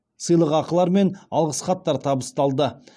сыйлықақылар мен алғыс хаттар табысталды